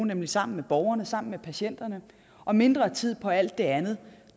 nemlig sammen med borgerne sammen med patienterne og mindre tid på alt det andet